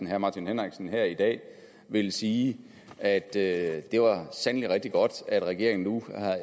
herre martin henriksen her i dag ville sige at det sandelig var rigtig godt at regeringen nu